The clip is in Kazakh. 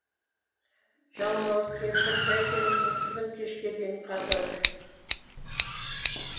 жалмауыз кемпір бәйтеректің түбін кешке дейін қазады